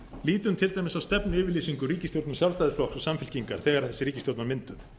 lítum til dæmis á stefnuyfirlýsingu sjálfstæðisflokks og samfylkingar þegar þessi ríkisstjórn var mynduð